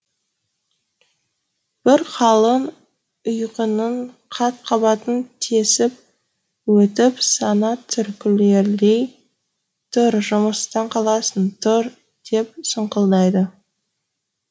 бір қалың ұйқының қат қабатын тесіп өтіп сана түрткілей тұр жұмыстан қаласың тұр деп сұңқылдайды